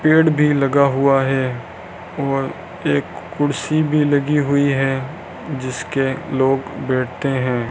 पेड़ भी लगा हुआ है और एक कुर्सी भी लगी हुई है जिसके लोग बैठते हैं।